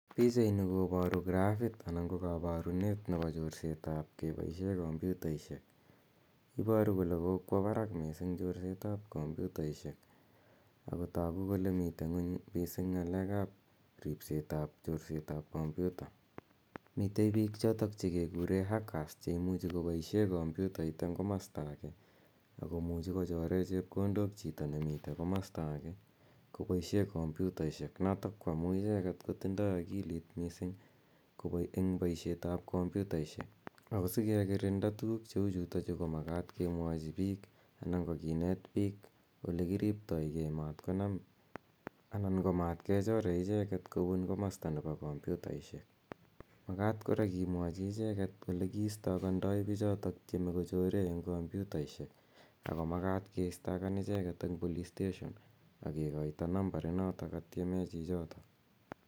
Pichaini koparu grafit anan ko kaparunet nepo chorsetap kepaishe kompyutaishek. Iparu kole kokwa parak missing' chorset ap kompyutaishek ako tagu kole mitei nguny missing' ng'aleek ap ripset ap chorset ap kompyuta. Mitei piik chotok che kekure hackers che imuchi kopaishe kompyutait eng' komasta age ako muchi kochore chepkondok chito ne mitei komasta age kopaishe kompyutaishek notok ko amu icheget kotindai akilit missing' eng' poishet ap kompyutaishek. Ako si kekirinda tuguuk che u chutachu ko makat ke mwachi piik anan ko kinet piik ole kiriptai ge matkonam anan ko matkechore icheget kopun komasta nepo kompyutaishek. Makat kora kemwachi icheget ole ki istakandai pichotok tieme kochore eng kompyutaishek ako makata keistakan icheget eng' police station ak kikoito nambarinotok katiemee chichotok.